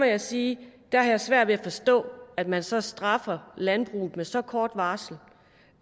jeg sige at jeg har svært ved at forstå at man så straffer landbruget med så kort varsel og